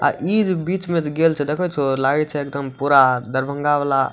आ इ जे बिच में जे गेल छे देखे छो लागय छे एकदम पूरा दरभंगा वला।